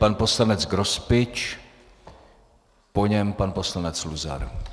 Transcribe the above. Pan poslanec Grospič, po něm pan poslanec Luzar.